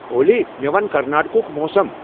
اولی، مے ون کرناٹکَ ہُک موسم ۔